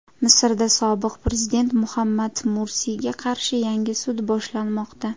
Misrda sobiq prezident Muhammad Mursiyga qarshi yangi sud boshlanmoqda.